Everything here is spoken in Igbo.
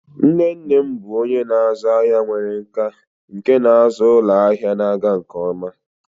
Nne nne m bụ onye na-azụ ahịa nwere nkà nke na-azụ ụlọ ahịa na-aga nke ọma.